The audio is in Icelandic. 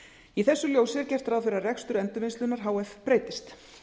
í þessu ljósi er gert ráð fyrir að rekstur endurvinnslunnar h f breytist